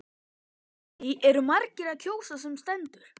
Lillý eru margir að kjósa sem stendur?